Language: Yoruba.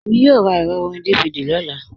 Èmi yòò rá èrọ̀ orin DVD ní ọlá